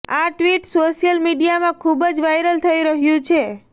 આ tweet social મીડિયામાં ખુબ વાયરલ થઈ રહ્યું છે